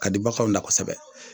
Ka di bagan da kosɛbɛ